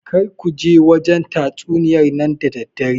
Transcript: Kar kuje wajen tatsuniyar nan da daddare